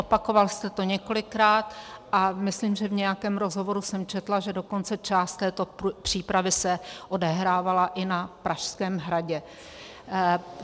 Opakoval jste to několikrát a myslím, že v nějakém rozhovoru jsem četla, že dokonce část této přípravy se odehrávala i na Pražském hradě.